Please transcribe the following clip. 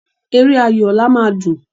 Eré ayò ọ̀la máa dùn.